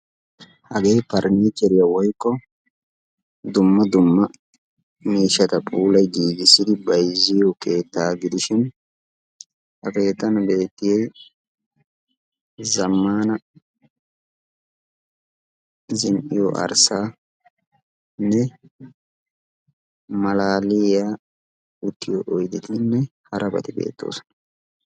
Hagee pariniichcheriya woykko dumma dumma miishshaata puulayi giiggissidi bayzziyo keettaa gidishin ha keettan beetiyiy zammana zin"iyo arssaanne malaaliya uttiyo oydetinne harabati beettoosona.